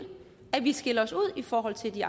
i forhold til de